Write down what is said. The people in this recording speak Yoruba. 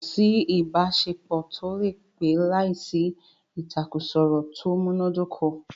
Kò sí ìbáṣepọ̀ tó lè pẹ́ láìsí ìtàkurọ̀sọ tó múná dóko.